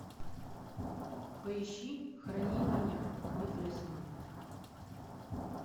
поищи храни меня мой талисман